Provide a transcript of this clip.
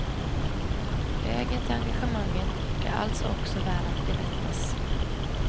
Vägen till engagemanget är alltså också värd att berättas.